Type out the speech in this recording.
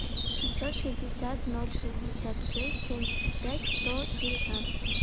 шестьсот шестьдесят ноль шестьдесят шесть семьдесят пять сто девятнадцать